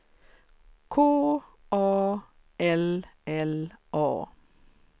K A L L A